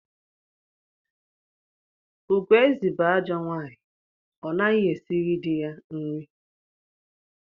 Ugoezi bụ ajọ nwaanyị, ọ naghị esiri dị ya nri.